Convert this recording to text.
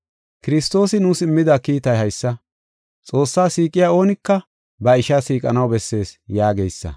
Kiristoosi nuus immida kiitay haysa; “Xoossaa siiqiya oonika ba ishaa siiqanaw bessees” yaageysa.